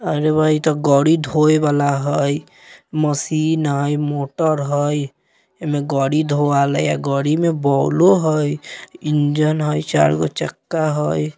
अरे वाह इ तो गाड़ी धोये वाला हई मशीन हई मोटर हई एम ए गाड़ी धो वाला हई या गाड़ी में बॉलों हई इंजन हई चारगो चक्का हई।